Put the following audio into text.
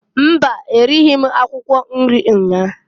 Mba! E righi m akwụkwọ nri nnyaa.